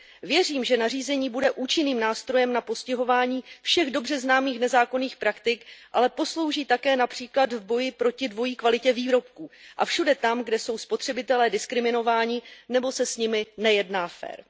Věřím, že nařízení bude účinným nástrojem na postihování všech dobře známých nezákonných praktik, ale poslouží také například v boji proti dvojí kvalitě výrobků a všude tam, kde jsou spotřebitelé diskriminováni nebo se s nimi nejedná fér.